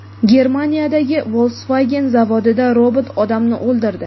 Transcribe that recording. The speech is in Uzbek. Germaniyadagi Volkswagen zavodida robot odamni o‘ldirdi.